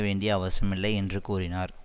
வேண்டிய அவசியமில்லை என்று கூறினார்